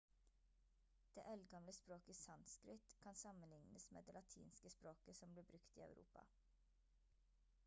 det eldgamle språket sanskrit kan sammenlignes med det latinske språket som ble brukt i europa